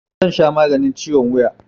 Zan sha maganin ciwon wuya